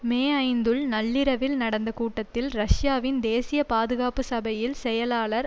மேஐந்துல் நள்ளிரவில் நடந்த கூட்டத்தில் ரஷ்யாவின் தேசிய பாதுகாப்பு சபையில் செயலாளர்